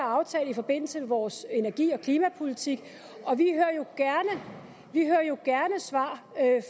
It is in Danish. er aftalt i forbindelse med vores energi og klimapolitik og vi hører jo gerne svar